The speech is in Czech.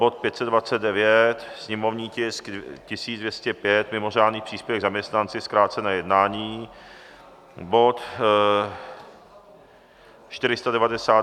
Bod 529, sněmovní tisk 1205 - mimořádný příspěvek zaměstnanci, zkrácené jednání, bod 499, sněmovní dokument...